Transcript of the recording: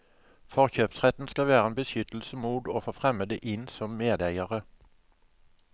Forkjøpsretten skal være en beskyttelse mot å få fremmede inn som medeiere.